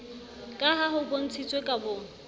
ka ha ho bontshitswe kabong